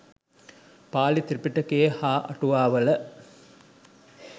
පාලි ත්‍රිපිටකයේ හා අටුවාවල